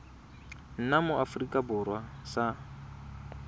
nna mo aforika borwa sa